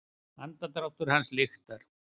Andardráttur hans lyktar.